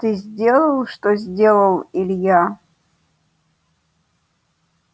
ты сделал что сделал илья